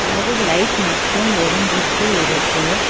ஒரு லைட் மட்டு எறிஞ்சிட்டு இருக்கு.